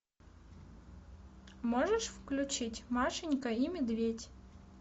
можешь включить машенька и медведь